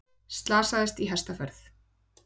Slasaðist í hestaferð